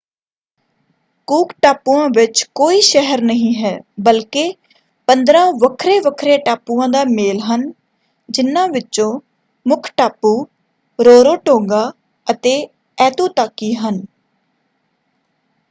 ਕੂਕ ਟਾਪੂਆਂ ਵਿੱਚ ਕੋਈ ਸ਼ਹਿਰ ਨਹੀਂ ਹੈ ਬਲਕਿ 15 ਵੱਖਰੇ-ਵੱਖਰੇ ਟਾਪੂਆਂ ਦਾ ਮੇਲ ਹਨ। ਜਿਨ੍ਹਾਂ ਵਿੱਚੋਂ ਮੁੱਖ ਟਾਪੂ ਰੋਰੋਟੋਂਗਾ ਅਤੇ ਐਤੂਤਾਕੀ ਹਨ।